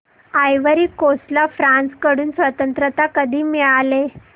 ivory Coast ला France कडून स्वातंत्र्य कधी मिळाले